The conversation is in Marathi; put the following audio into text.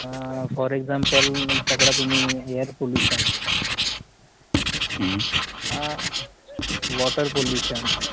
for example पकडा तुम्ही air pollution अह water pollution